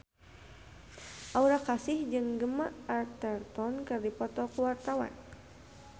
Aura Kasih jeung Gemma Arterton keur dipoto ku wartawan